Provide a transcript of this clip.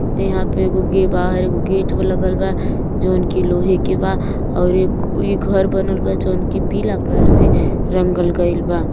यहा पे एगो गे बाहर एगो गेट लगल बा जोंन्की लोहेकी बा और ई घर बानल बा जोन्की पीला कलर से रंगल गइल बा।